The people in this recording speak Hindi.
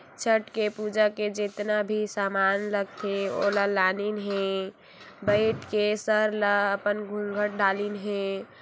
छट के पूजा के जेतना भी सामान लागथे ओला लानिन हे बइठ के सर ला अपन घूंघट डालिन हे।